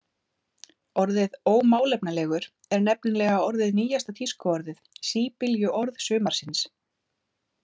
Orðið „ómálefnalegur“ er nefnilega orðið nýjasta tískuorðið, síbyljuorð sumarsins.